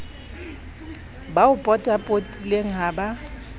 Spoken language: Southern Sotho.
ba o potapotileng ha ba